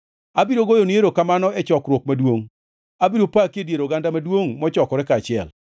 Abiro goyoni erokamano e chokruok maduongʼ; abiro paki e dier oganda maduongʼ mochokore kaachiel.